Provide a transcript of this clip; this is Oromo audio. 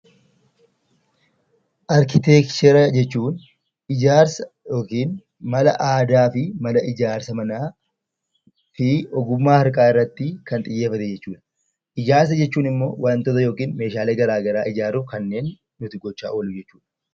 Arkiteekcharii jechuun ijaarsa mala aadaa fi mala ijaarsa manaa fi ogummaa harkaa irratti kan xiyyeeffate jechuudha. Ijaarsa jechuun immoo wantoota yookiin meeshaalee garaagaraa ijaaruuf kanneen nuti goonudha